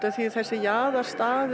af því að þessir